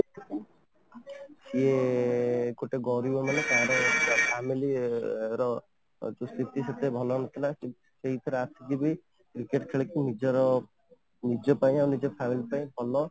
ଇୟେ ଗୋଟେ ଗରିବ ମାନେ ତା'ର family ର ସ୍ଥିତି ସେତେ ଭଲ ନଥିଲା ସେଇଥିରେ ଆସିକି ବି cricket ଖେଳିକି ନିଜର ନିଜ ପାଇଁ ଆଉ ନିଜ family ପାଇଁ ଭଲ